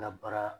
Labara